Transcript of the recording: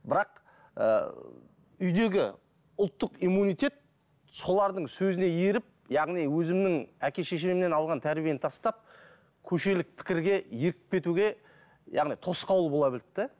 бірақ ы үйдегі ұлттық иммунитет солардың сөзіне еріп яғни өзімнің әке шешемнен алған тәрбиені тастап көшелік пікірге еріп кетуге яғни тосқауыл бола білді де